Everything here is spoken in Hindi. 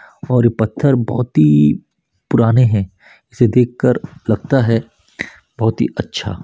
और ये पत्थर बहोत ही पुराने है इसे देखकर लगता है बहोत ही अच्छा--